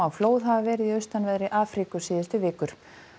flóð hafa verið í austanverðri Afríku síðustu vikur